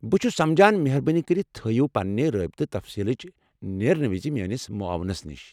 بہٕ چھٗس سمجان۔ مہربٲنی کٔرتھ تھٲوِو پننِہ رٲبطٕہ تفصیٖلنٮ۪بر نیرنہٕ وِزِ میٲنس معاونس نش ۔